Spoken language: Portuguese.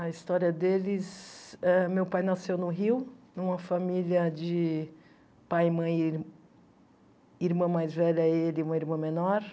A história deles, eh meu pai nasceu no Rio, numa família de pai, mãe e ir e irmã mais velha, ele e uma irmã menor.